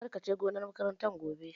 Kar ka je gonar makarantar gobe!